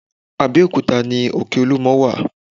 Abẹ́òkúta ni òkè olúmọ wà